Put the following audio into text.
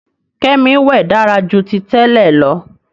Kemi wẹ dára jù tí tèlé ló.